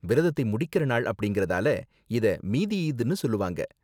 விரதத்தை முடிக்கற நாள் அப்படிங்கறதால இத மீதி ஈத்னு சொல்லுவாங்க.